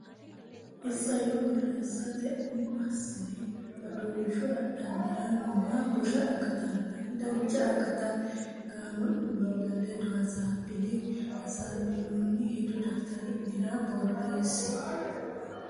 Isayyo borreessate umo assine Aduulshu Adhammara nooha busha akatanna dancha akata gaamo ne miilla ledo hasaabbine hasaabbinoonni hedo daftari nera borreesse.